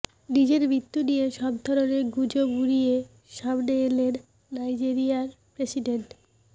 নিজের মৃত্যু নিয়ে সবধরনের গুজব উড়িয়ে সামনে এলেন নাইজেরিয়ার প্রেসিডেন্ট